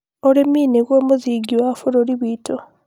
Ũrĩmi nĩguo mũthingi wa bũrũri witũ